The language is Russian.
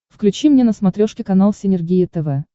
включи мне на смотрешке канал синергия тв